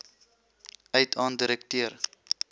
uit aan direkteur